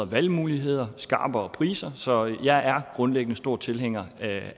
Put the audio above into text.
valgmuligheder skarpere priser så jeg er grundlæggende stor tilhænger